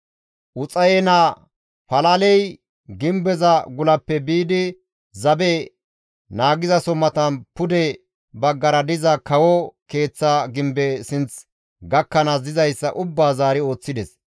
Uxaye naa Palaley gimbeza gulappe biidi zabe naageso matan pude baggara diza kawo keeththa gimbe sinth gakkanaas dizayssa ubbaa zaari ooththides.